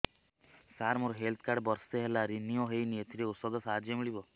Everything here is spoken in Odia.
ସାର ମୋର ହେଲ୍ଥ କାର୍ଡ ବର୍ଷେ ହେଲା ରିନିଓ ହେଇନି ଏଥିରେ ଔଷଧ ସାହାଯ୍ୟ ମିଳିବ